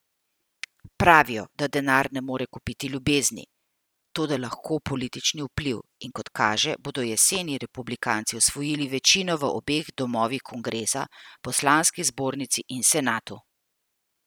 Pravijo, da denar ne more kupiti ljubezni, toda lahko politični vpliv, in kot kaže, bodo jeseni republikanci osvojili večino v obeh domovih kongresa, poslanski zbornici in senatu.